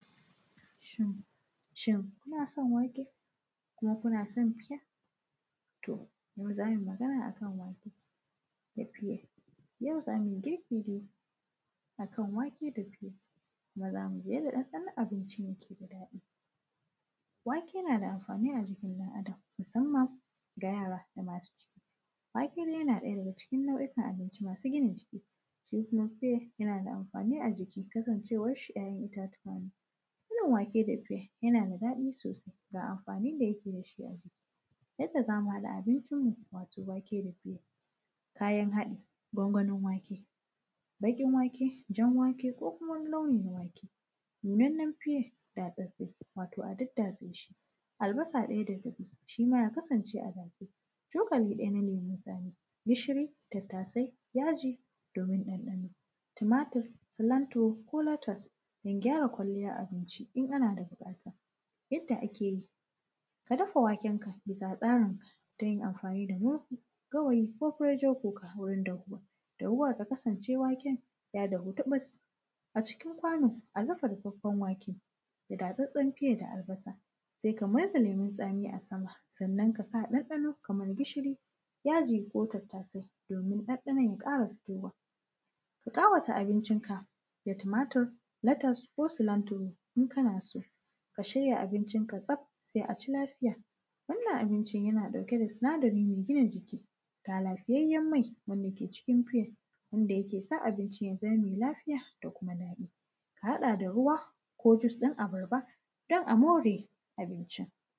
Shin, shin, kuna son wake kuma kuna san fiye? To, yau za mui magana a kan wake da fiye. Yau za mui girki ne a kan wake da fiya, kuma za mu ji yadda ɗanɗanon abinci yake da daɗi. Wake na da amfani a jikin ɗan Adam, musamman ga yara da masu ciki. Wake de yana ɗaya daga cikin nau’ikan abinci masu gina jiki, se kuma fiye, yana da amfani a jiki, kasancewar shi ‘ya’yan itatuwa ne. Miyan wake da fiye, yana da daɗi sosai, ga amfani da yake da shi a jiki. Yadda za mu haɗa abincinmu, wato wake da fiye. Kayan haɗi, gwangwanin wake, baƙin wake, jan wake ko kuma wani launi na wake, nunannanen fiye da tsattse, wato a daddatse shi, albasa ɗaya rabi, shi ma ya kasance a datse, cokali ɗaya na lemun tsami, gishiri, tattasai, yaji domin ɗanɗano, tumatir, silantiro ko latas, don gyara kwalliay abinci in ana da biƙata. Yadda ake yi, ka dafa wakenka, bisa tsarinka da yin amfani da mofu, gawayi ko furojo kuka wurin dahuwa. Dahuwa ta kasance waken ya dahu tuƃus. A cikin kwano, a dafa rufaffen wake da datsattsen fiye da albasa, se ka mirza lemun tsami a sama. Sannan, ka sa ɗanɗano kamar gishiri, yaji ko tattasai, domin ɗanɗanon ya ƙara fitowa. Ka ƙawata abincinka da tumatir, latas ko silanturo in kana so, ka shirya abincinka tsaf, se a ci lafiya. Wannan abincin, yana ɗauke da sinadari me gina jiki, ga lafiyayyen mai wanka ke cikin fiye wanda yake sa abincin ya zama me lafiya da kuma daɗi. A haɗa da ruwa ko jus ɗin abarba, don a more abincin.